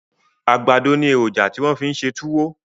Àgbàdọ ni èròjà ti wọ́n fi ń ṣe túwó